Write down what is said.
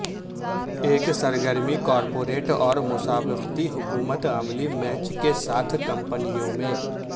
ایک سرگرمی کارپوریٹ اور مسابقتی حکمت عملی میچ کے ساتھ کمپنیوں میں